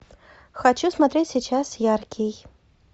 хочу смотреть сейчас яркий